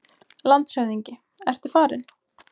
LANDSHÖFÐINGI: Ertu farinn?